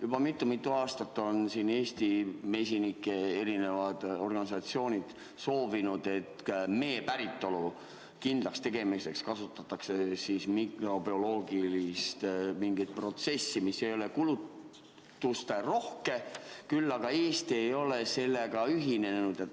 Juba mitu-mitu aastat on Eesti mesinike erinevad organisatsioonid soovinud, et mee päritolu kindlakstegemiseks kasutataks mikrobioloogilist protsessi, mis ei ole kulutusterohke, küll aga Eesti ei ole sellega ühinenud.